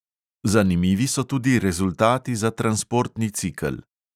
Zanimivi so tudi rezultati za transportni cikel.